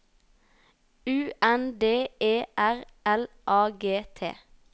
U N D E R L A G T